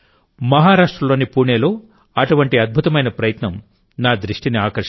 మహారాష్ట్రలోని పూణేలోఅటువంటి అద్భుతమైన ప్రయత్నం నా దృష్టిని ఆకర్షించింది